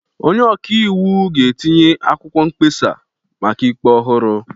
Onye ọka iwu ga-etinye akwụkwọ mkpesa maka ikpe ọhụrụ.